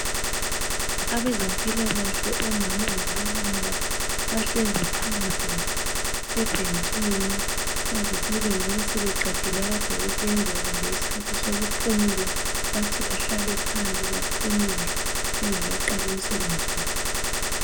Abezempilakahle, omama labobaba bahlezi phandle ebhentshini, sebengabe sebeqedile akade bekwenza kumbe yisikhathi sokuphumula. Bathi bahlale phandle baphumule bengakaqali umsebenzi wabo.